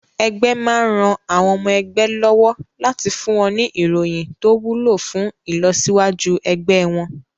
Ẹgbé máa ran àwọn ọmọ ẹgbẹ́ lọ́wọ́ láti fún wọn ní ìròyìn tó wúlò fún ìlọsíwájú ẹgbẹ́ wọn.